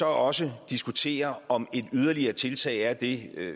også diskuterer om et yderligere tiltag er det